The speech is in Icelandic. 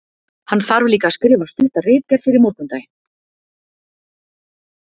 Hann þarf líka að skrifa stutta ritgerð fyrir morgundaginn.